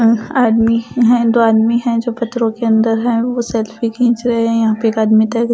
आ आदमी है दो आदमी है जो पत्थरों के अंदर है वो सेल्फी खींच रहे हैं यहां पे एक आदमी--